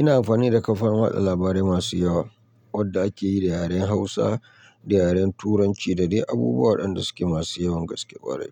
Ina amfani da kafan watsa labarai masu yawa wadda ake yi da yaren Hausa, da yaren Turanci da dai abubuwan da suke masu yawan gaske ƙwarai.